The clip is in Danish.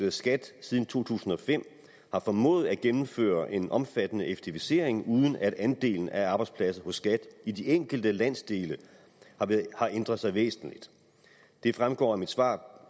at skat siden to tusind og fem har formået at gennemføre en omfattende effektivisering uden at andelen af arbejdspladser hos skat i de enkelte landsdele har ændret sig væsentligt det fremgår af mit svar